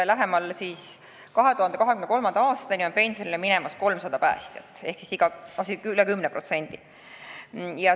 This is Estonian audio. Nagu ma ütlesin, 2023. aastaks on pensionile minemas 300 päästjat ehk üle 10%.